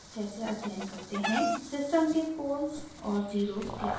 * system के poles और zeros कैसे प्लॉट करते हैं